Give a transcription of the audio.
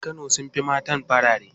Mazan kano sun fi mata farare.